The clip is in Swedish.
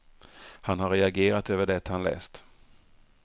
Han har reagerat över det han läst.